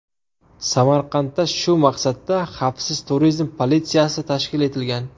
Samarqandda shu maqsadda xavfsiz turizm politsiyasi tashkil etilgan.